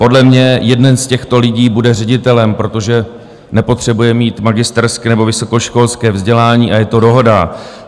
Podle mě jeden z těchto lidí bude ředitelem, protože nepotřebuje mít magisterské nebo vysokoškolské vzdělání, a je to dohoda.